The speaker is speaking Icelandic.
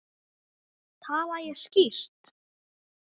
Tala ég skýrt?